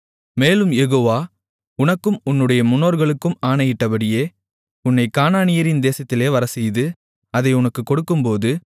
மேலும் யெகோவா உனக்கும் உன்னுடைய முன்னோர்களுக்கும் ஆணையிட்டபடியே உன்னைக் கானானியரின் தேசத்திலே வரச்செய்து அதை உனக்குக் கொடுக்கும்போது